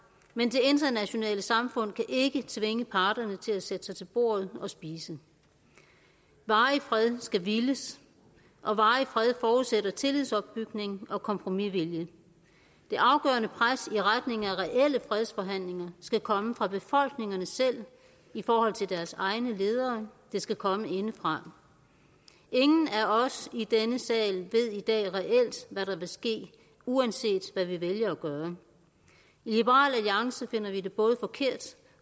men det internationale samfund kan ikke tvinge parterne til at sætte sig til bordet og spise varig fred skal villes og varig fred forudsætter tillidsopbygning og kompromisvilje det afgørende pres i retning af reelle fredsforhandlinger skal komme fra befolkningerne selv i forhold til deres egne ledere det skal komme indefra ingen af os i denne sal ved i dag reelt hvad der vil ske uanset hvad vi vælger at gøre i liberal alliance finder vi det både forkert